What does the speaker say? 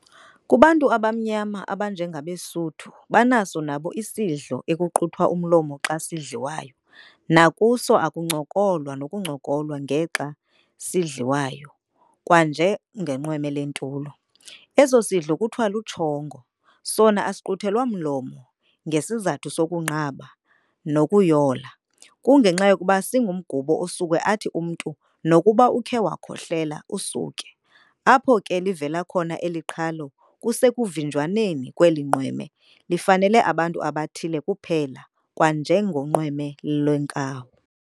Kubantu abamnyama abanjengabeSuthu banaso nabo isidlo ekuquthwa umlomo xa sidliwayo, nakuso akuncokolwa nokuncolwa ngexa esisadliwayo kwanje ngenqweme lentulo. eso sidlo kuthiwa luTshongo, sona asiquthelwa mlomo ngesizathu sokunqaba, nakuyola, kungenxa yokuba singumgubo osuke athi umntu nokuba ukhe wakhohlela, usuke. apho ke livela khona eli qhalo kusekuvinjwaneni kweli nqweme lifanele abantu abathile kuphela kwanjengenqweme lemkawu.